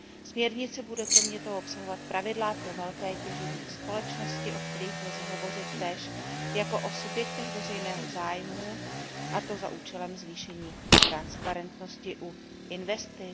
Směrnice bude kromě toho obsahovat pravidla pro velké těžební společnosti, o kterých lze hovořit též jako o subjektech veřejného zájmu, a to za účelem zvýšení transparentnosti u investic.